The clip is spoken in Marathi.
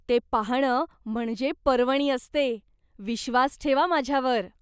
ते पाहणं म्हणजे पर्वणी असते, विश्वास ठेवा माझ्यावर.